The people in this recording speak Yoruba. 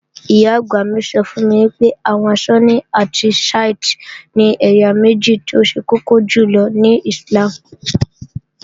Ìyá-àgbà mi sọ fún mi pé àwọn Súnní àti Shíítè ni ẹ̀yà méjì tó ṣe kọ́kọ́ jùlọ ní Íslàmù